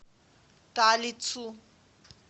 талицу